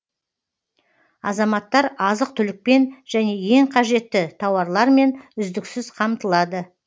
азаматтар азық түлікпен және ең қажетті тауарлармен үздіксіз қамтылады